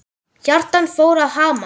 Hjartað fór að hamast.